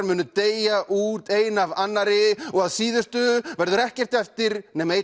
munu deyja út ein af annarri og að síðustu verður ekkert eftir nema einn